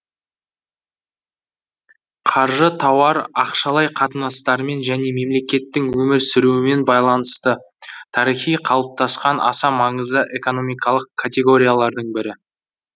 қаржы тауар ақшалай қатынастармен және мемлекеттің өмір сүруімен байланысты тарихи қалыптасқан аса маңызды экономикалық категориялардың бірі